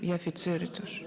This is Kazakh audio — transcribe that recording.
и офицеры тоже